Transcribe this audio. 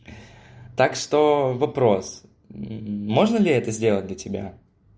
так что вопрос можно ли это сделать для тебя